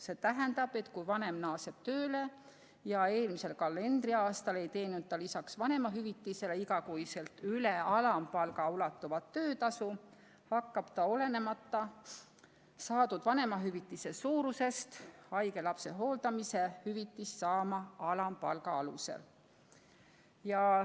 See tähendab, et kui vanem naaseb tööle ja eelmisel kalendriaastal ei teeninud lisaks vanemahüvitisele iga kuu üle alampalga ulatuvat töötasu, hakkab ta olenemata saadud vanemahüvitise suurusest haige lapse hooldamise hüvitist saama alampalga alusel.